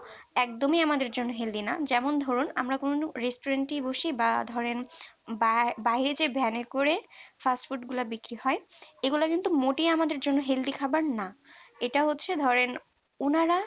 একদমই আমাদের জন্য healthy না যেমন ধরুন আমরা কোন restaurant এই বসি বা ধরেন বায় বাইরে van করে fast food গুলো বিক্রি হয় এগুলো কিন্তু মোটেই আমাদের জন্য healthy খাবার না এটা হচ্ছে ধরেন উনারা